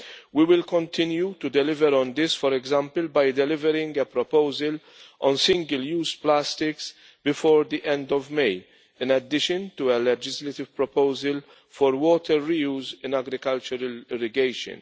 We will continue to deliver on this, for example by delivering a proposal on single-use plastics before the end of May, in addition to a legislative proposal for water reuse in agricultural irrigation.